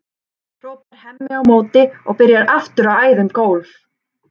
hrópar Hemmi á móti og byrjar aftur að æða um gólf.